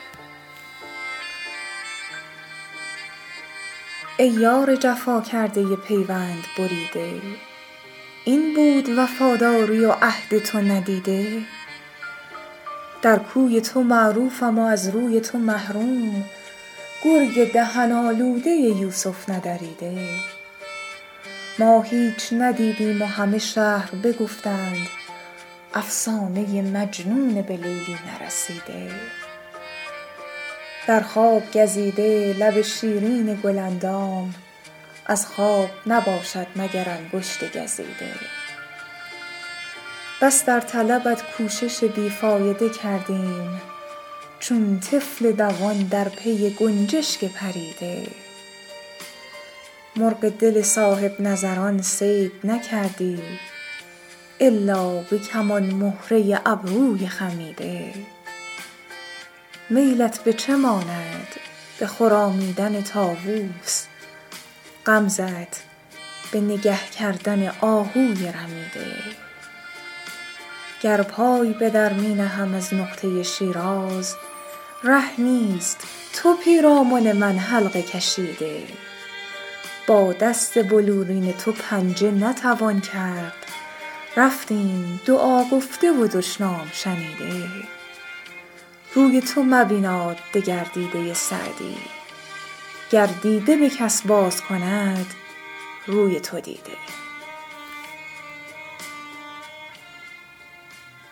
ای یار جفا کرده پیوند بریده این بود وفاداری و عهد تو ندیده در کوی تو معروفم و از روی تو محروم گرگ دهن آلوده یوسف ندریده ما هیچ ندیدیم و همه شهر بگفتند افسانه مجنون به لیلی نرسیده در خواب گزیده لب شیرین گل اندام از خواب نباشد مگر انگشت گزیده بس در طلبت کوشش بی فایده کردیم چون طفل دوان در پی گنجشک پریده مرغ دل صاحب نظران صید نکردی الا به کمان مهره ابروی خمیده میلت به چه ماند به خرامیدن طاووس غمزه ت به نگه کردن آهوی رمیده گر پای به در می نهم از نقطه شیراز ره نیست تو پیرامن من حلقه کشیده با دست بلورین تو پنجه نتوان کرد رفتیم دعا گفته و دشنام شنیده روی تو مبیناد دگر دیده سعدی گر دیده به کس باز کند روی تو دیده